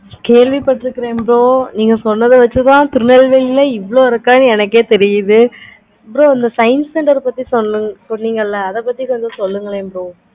கேள்வி பாத்துருக்கேன் bro நீங்க சொன்னதை வச்சி தான் நா திருநெல்வேலில இவ்வலி இருக்கு என்னயே தெரியுது u bro இந்த science சொன்னிங்களா அத பத்து கொஞ்சம் சொல்லுங்களே